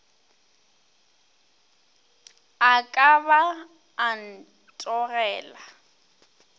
a ka ba a ntogela